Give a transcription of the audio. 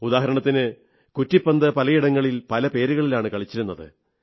ഉദാഹരണത്തിന് കുറ്റിപ്പന്ത് പലയിടങ്ങളിൽ പല പേരുകളിലാണ് കളിച്ചിരുന്നത്